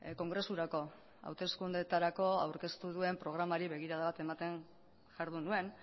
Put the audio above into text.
kongresurako hauteskundeetarako aurkeztu duen programari begirada bat ematen jardun nuen